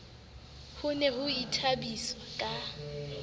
ho ne ho ithabiswa ka